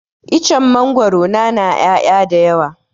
Icen mangwaro na na ƴaya da yawa